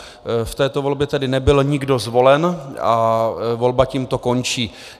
V této volbě tedy nebyl nikdo zvolen a volba tímto končí.